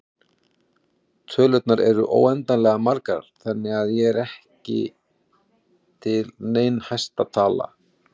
Tölurnar eru óendanlega margar þannig að ekki er til nein hæsta tala.